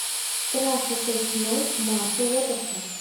трасса шесть ноль марка уотерса